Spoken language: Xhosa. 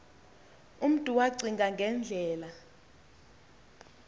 umntu wacinga ngendlela